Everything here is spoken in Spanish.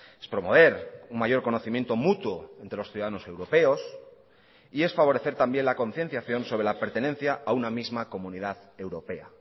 es promover un mayor conocimiento mutuo entre los ciudadanos europeos y es favorecer también la concienciación sobre la pertenencia a una misma comunidad europea